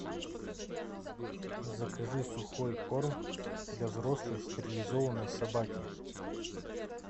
закажи сухой корм для взрослой стерилизованной собаки